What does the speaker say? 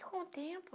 E com o tempo,